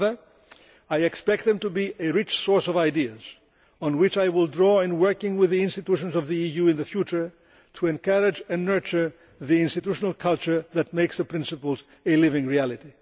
Rather I expect them to be a rich source of ideas on which I will draw in working with the institutions of the EU in the future to encourage and nurture the institutional culture that makes the principles a living reality.